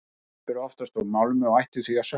Skip eru oftast úr málmi og ættu því að sökkva.